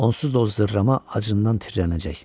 Onsuz da o zərrəma acından tirrənəcək.